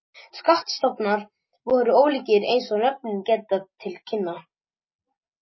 Skattstofnar voru ólíkir eins og nöfnin gefa til kynna.